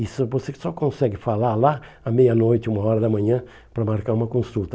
E só você só consegue falar lá à meia-noite, uma hora da manhã, para marcar uma consulta.